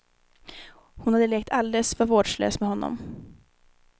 Hon hade lekt alldeles för vårdslöst med honom.